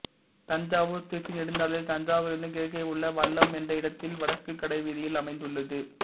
தஞ்சாவூர்திருச்சி நெடுஞ்சாலையில் தஞ்சாவூரிலிருந்து கிழக்கே உள்ள வல்லம் என்ற இடத்தில் வடக்கு கடை வீதியில் அமைந்துள்ளது